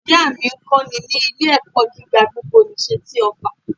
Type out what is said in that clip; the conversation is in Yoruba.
Ìyá à mí ń kọ́ni ní ilé ẹ̀kọ́ gíga gbogbo nìse ti òffà